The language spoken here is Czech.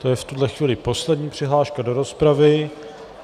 To je v tuhle chvíli poslední přihláška do rozpravy.